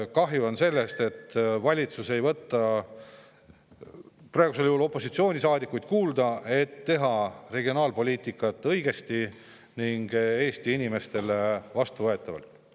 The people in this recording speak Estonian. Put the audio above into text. Kahju on sellest, et valitsus ei võta praegusel juhul opositsioonisaadikuid kuulda, kuidas teha regionaalpoliitikat õigesti ning Eesti inimestele vastuvõetavalt.